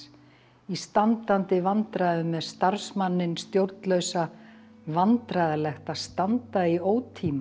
í standandi vandræðum með starfsmanninn stjórnlausa vandræðalegt að standa í ótíma